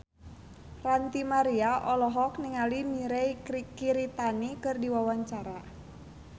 Ranty Maria olohok ningali Mirei Kiritani keur diwawancara